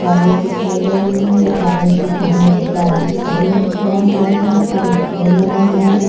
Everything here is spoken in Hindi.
कॉलेज दिखाई दे रहा है कॉलेज के सामने एक बड़ा पुल खड़ा हुआ है और एक पेड़ लगा हुआ है।